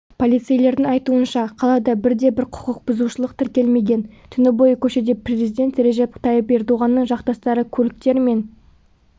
полицейлердің айтуынша қалада бірде-бір құқықбұзушылық тіркелмеген түні бойы көшеде президент режеп тайып ердоғанның жақтастары көліктер мен